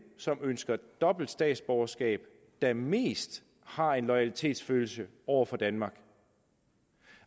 som ønsker dobbelt statsborgerskab der mest har en loyalitetsfølelse over for danmark